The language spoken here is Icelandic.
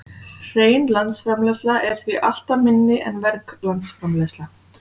Hrein landsframleiðsla er því alltaf minni en verg landsframleiðsla.